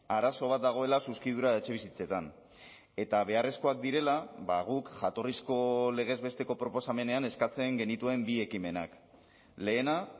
arazo bat dagoela zuzkidura etxebizitzetan eta beharrezkoak direla guk jatorrizko legez besteko proposamenean eskatzen genituen bi ekimenak lehena